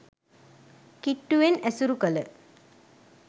කිට්ටුවෙන් ඇසුරු කළ